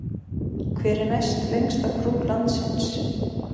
Hver er næstlengsta brú landsins?